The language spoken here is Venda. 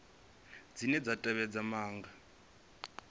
cbnrm dzine dza tevhedza maga